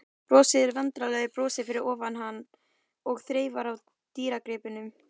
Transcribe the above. Brosir vandræðalegu brosi fyrir ofan hann og þreifar á dýrgripnum.